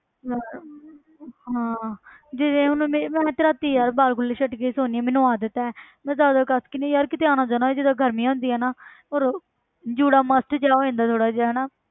ਯਾਰ ਹਾਂ ਜਿਵੇਂ ਹੁਣ ਮੇਰੇ ਮੈਂ ਤੇ ਰਾਤੀ ਯਾਰ ਵਾਲ ਖੁੱਲੇ ਛੱਡ ਕੇ ਸੋਂਦੀ ਹਾਂ ਮੈਨੂੰ ਆਦਤ ਹੈ ਮੈਂ ਜ਼ਿਆਦਾ ਕਸ ਕੇ ਨੀ ਯਾਰ ਕਿਤੇ ਆਉਣਾ ਜਾਣਾ ਹੋਏ ਜਿੱਦਾਂ ਗਰਮੀ ਹੁੰਦੀ ਹੈ ਨਾ ਉਦੋਂ ਜੂੜਾ must ਜਿਹਾ ਹੋ ਜਾਂਦਾ ਥੋੜ੍ਹਾ ਜਿਹਾ ਹਨਾ।